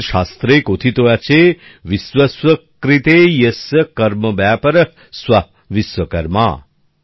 আমাদের শাস্ত্রে কথিত আছে বিশ্বস্য কৃতে য়স্য কর্মব্যাপারঃ সঃ বিশ্বকর্মা